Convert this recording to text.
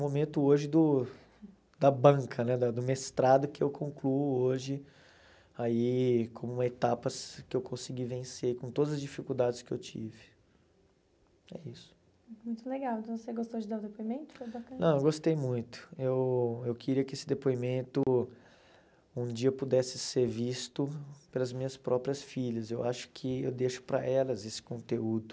momento hoje do da banca né da do mestrado que eu concluo hoje aí como etapas que eu consegui vencer com todas as dificuldades que eu tive que é isso muito legal você gostou de dar o depoimento não gostei muito eu eu queria que esse depoimento um dia pudesse ser visto pelas minhas próprias filhas eu acho que eu deixo para elas esse conteúdo